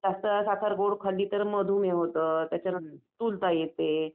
कसं जास्त साखर खाल्ली तर मधुमेह होतं त्याच्यानंतर स्थूलता येते.